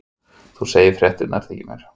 Þú segir fréttirnar þykir mér!